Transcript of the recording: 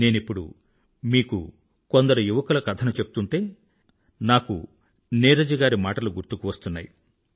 నేనిప్పుడు మీకు కొందరు యువకుల కథ ను చెప్తుంటే నాకు నీరజ్ గారి మాటలు కూడా గుర్తువస్తున్నాయి